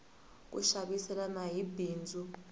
ku xaviselana i bindzu